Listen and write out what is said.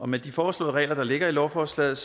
med de foreslåede regler der ligger i lovforslaget